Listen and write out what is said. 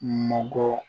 Manko